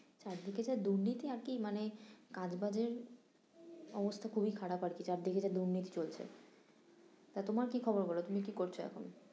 চারদিকে যা দূর্নীতি আর কি মানে কাজ বাজের অবস্থা খুবই খারাপ আর কি চারদিকে যা দূর্নীতি চলছে তা তোমার কি খবর বলো তুমি কি করছো এখন?